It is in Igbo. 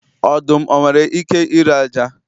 Ọdụm o nwere ike ịre ájá?